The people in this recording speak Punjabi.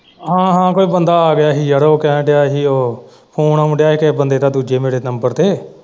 ਹਾਂ ਹਾਂ ਕੋਈ ਬੰਦਾ ਆ ਗਿਆ ਸੀ ਯਾਰ ਉਹ ਕਹਿਣ ਦਿਆ ਸੀ ਉਹ ਫੋਨ ਆਉਣ ਦਿਆ ਹੀ ਕਿਸੇ ਬੰਦੇ ਦਾ ਦੂਜੇ ਮੇਰੇ ਨੰਬਰ ਤੇ।